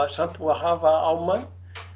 samt búið að hafa á mann